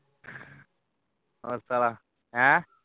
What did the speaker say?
ਉਹ ਸਾਲਾ ਹੈ